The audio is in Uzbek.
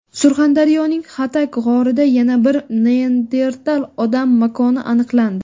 Surxondaryoning Xatak g‘orida yana bir neandertal odam makoni aniqlandi.